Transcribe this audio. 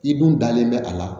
I dun dalen bɛ a la